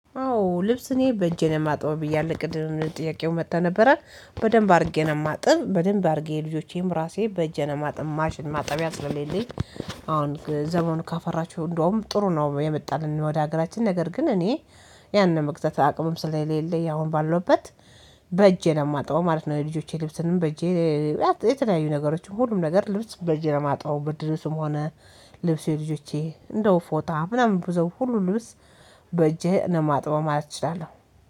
አዎ ልብስ እኔ በእጄ ነው የማጥበው ብያለሁ ቅምም ጥያቄው መጥቶ ነበረ በደንብ አድርጌ ነው የማጥብ በደንብ አድርጌ የልጆቼም ራሴ በእጅ ማጥማሽ ማጥቢያ ስለሌለኝ። አሁን ዘመኑ ካፈራቸው እንደውም ጥሩ ነው የመጣልን ወደ ሀገራችን ነገር ግን እኔ ያን የመግዛት አቅምም ስለሌለ አሁን ባለሁበት በእጄ ነው የማጥበው ማለት ነው። የልጆቼ ልብስንም በእጄ። የተለያዩ ነገሮች ሁሉም ነገር ልብስ በእጄ ለማጥበው ብርድ ልብስም ሆነ። ልብሴ ልጆቼ እንደው ፎጣ ምናምን ብዙ ሁሉ ልብስ በእጄ እው የማጥበው ማለት እችላለሁ